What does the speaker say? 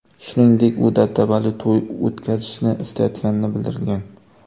Shuningdek, u dabdabali to‘y o‘tkazishni istayotganini bildirgan.